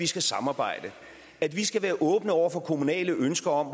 skal samarbejdes og at vi skal være åbne over for kommunale ønsker om